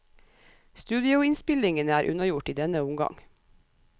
Studioinnspillingene er unnagjort i denne omgang.